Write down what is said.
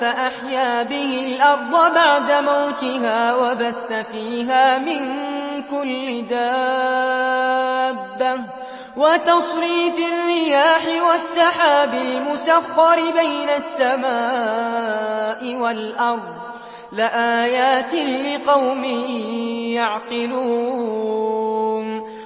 فَأَحْيَا بِهِ الْأَرْضَ بَعْدَ مَوْتِهَا وَبَثَّ فِيهَا مِن كُلِّ دَابَّةٍ وَتَصْرِيفِ الرِّيَاحِ وَالسَّحَابِ الْمُسَخَّرِ بَيْنَ السَّمَاءِ وَالْأَرْضِ لَآيَاتٍ لِّقَوْمٍ يَعْقِلُونَ